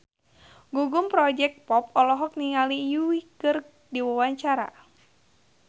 Gugum Project Pop olohok ningali Yui keur diwawancara